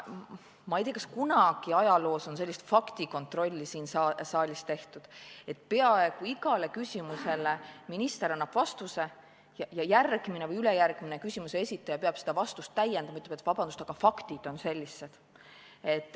Ma ei tea, kas kunagi ajaloos on sellist faktikontrolli siin saalis tehtud, et kui peaaegu igale küsimusele annab minister vastuse, siis järgmine või ülejärgmine küsimuse esitaja peab seda vastust täiendama, ütlema, et vabandust, aga faktid on sellised.